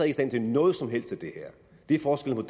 i stand til noget som helst af det her det er forskellen